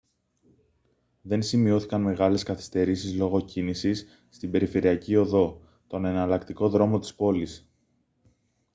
δεν σημειώθηκαν μεγάλες καθυστερήσεις λόγω κίνησης στην περιφερειακή οδό τον εναλλακτικό δρόμο της πόλης